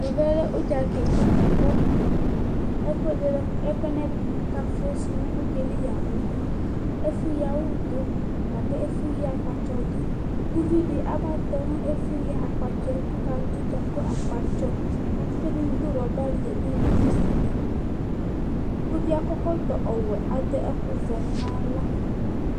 Ɔvɛ lɛ ʋdzakika buako ɛkʋɛ k'ɛkafʋsʋ nʋ ʋdzayɛli yamʋ ɛfʋ yii awu ɖʋ,ɛfʋ yii akpatsɔ ɖʋ k'ʋviɖi aba tɔ n'ɛfʋyii akpatsɔɛ, k'ɔlaɖʋdza kʋ akpatsɔakatsɔɛɖi ɖʋ rɔbali, ɛɖini ɖʋ kusiliƲvie akɔ ɛkɔtɔ wuɛ aɖʋ ɛkʋvɛ m'awla